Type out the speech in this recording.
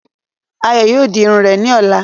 Ayọ̀ yóò di Irun rẹ̀ ni ọ̀la.